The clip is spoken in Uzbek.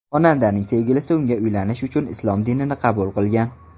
Xonandaning sevgilisi unga uylanish uchun islom dinini qabul qilgan.